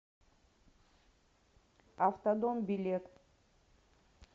автодом билет